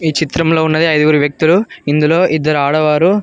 ఈ చిత్రంలో ఉన్నది ఐదుగురు వ్యక్తులు ఇందులో ఇద్దరు ఆడవారు.